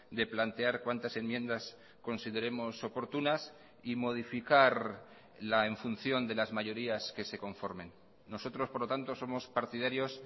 de plantear cuantas enmiendas consideremos oportunas y modificarla en función de las mayorías que se conformen nosotros por lo tanto somos partidarios